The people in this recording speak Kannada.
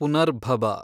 ಪುನರ್ಭಬ